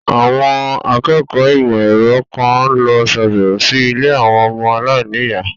Àwọn akẹ́kọ̀ọ́ ìmọ̀ ẹ̀rọ kan lọ sàbẹ̀wò sí ilé àwọn ọmọ aláìníyàá.